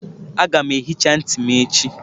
Aga m ehicha ntị m echi.